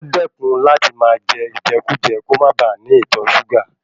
O dẹkun láti máa jẹ ijẹkujẹ, kò máa ba ní ìtọ súgà.